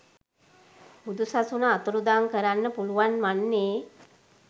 බුදු සසුන අතුරුදන් කරන්න පුළුවන් වන්නේ